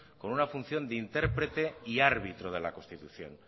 con una función de intérprete y árbitro de la constitución